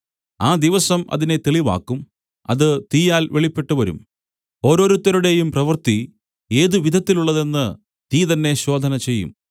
ആ ദിവസം അതിനെ തെളിവാക്കും അത് തീയാൽ വെളിപ്പെട്ടുവരും ഓരോരുത്തരുടെയും പ്രവൃത്തി ഏതു വിധത്തിലുള്ളതെന്ന് തീ തന്നെ ശോധന ചെയ്യും